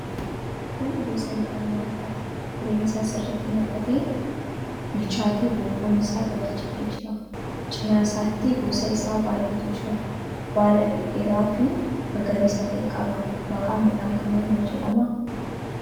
Kun gosa midhaan nyaataati. Firiin isaa sirriitti naqatee, bilchaatee boquun isaa gadi jedhee jira. Cina isaatiis gosa isaa baay'eetu jira. Baala dhedheeraafi magariisa ta'e qaba. Maqaan midhaan kanaa maal jedhama?